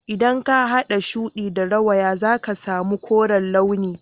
idan ka hada shudi da rawaya zaka sami koren launi